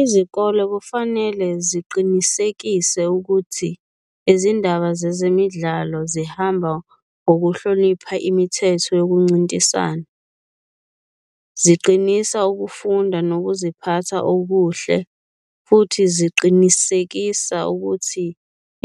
Izikole kufanele ziqinisekise ukuthi izindaba zezemidlalo zihamba ngokuhlonipha imithetho yokuncintisana, ziqinisa ukufunda nokuziphatha okuhle futhi ziqinisekisa ukuthi